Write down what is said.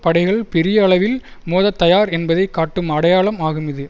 படைகள் பெரிய அளவில் மோதத் தயார் என்பதை காட்டும் அடையாளம் ஆகும் இது